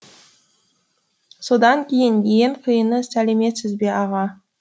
содан кейін ең қиыны сәлеметсіз бе аға